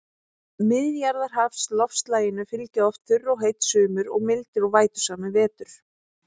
Miðjarðarhafsloftslaginu fylgja oft þurr og heit sumur og mildir og vætusamir vetur.